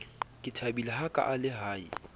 ke thabile hakaale ha e